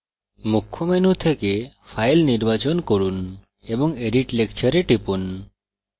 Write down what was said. মুখ্য menu থেকে file নির্বাচন from এবং edit lecture এ টিপুন